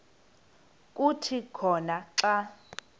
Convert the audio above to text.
kuthi khona xa